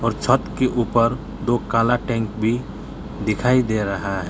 छत के ऊपर दो काला टैंक भी दिखाई दे रहा है।